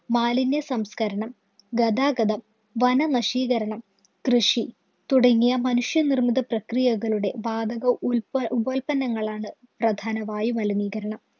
മാലിന്യസംസ്കരണം, ഗതാഗതം, വനനശീകരണം, കൃഷി തുടങ്ങിയ മനുഷ്യനിര്‍മ്മിതപ്രക്രിയകളുടെ വാതക ഉല്പഉപോത്പന്നങ്ങളാണ് പ്രധാന വായുമലിനീകരണം.